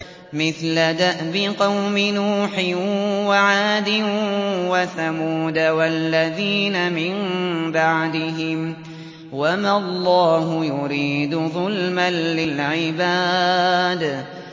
مِثْلَ دَأْبِ قَوْمِ نُوحٍ وَعَادٍ وَثَمُودَ وَالَّذِينَ مِن بَعْدِهِمْ ۚ وَمَا اللَّهُ يُرِيدُ ظُلْمًا لِّلْعِبَادِ